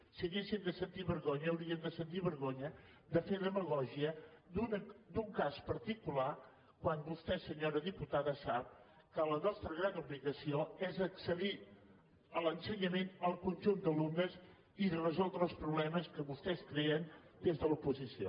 si haguéssim de sentir vergonya hauríem de sentir vergonya de fer demagògia d’un cas particular quan vostè senyora diputada sap que la nostra gran obligació és fer accedir a l’ensenyament el conjunt d’alumnes i resoldre els problemes que vostès creen des de l’oposició